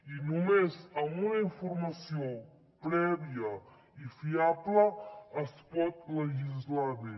i només amb una informació prèvia i fiable es pot legislar bé